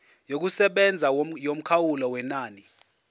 yokusebenza yomkhawulo wenani